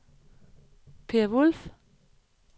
Peer Wulff